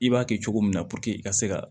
I b'a kɛ cogo min na i ka se ka